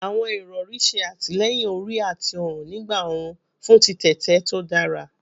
Awọn irọri ṣe atilẹyin ori ati ọrun nigba orun fun titete to dara